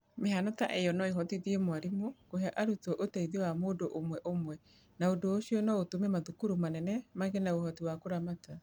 Mĩhaano ta ĩyo no ĩhotithie mwarimũ kũhe arutwo ũteithio wa mũndũ ũmwe ũmwe, na ũndũ ũcio no ũtũme mathukuru manene magĩe na ũhoti wa kũramata.